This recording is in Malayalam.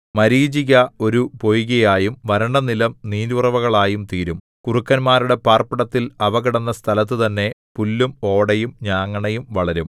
മരീചിക ഒരു പൊയ്കയായും വരണ്ടനിലം നീരുറവുകളായും തീരും കുറുക്കന്മാരുടെ പാർപ്പിടത്തിൽ അവ കിടന്ന സ്ഥലത്തുതന്നെ പുല്ലും ഓടയും ഞാങ്ങണയും വളരും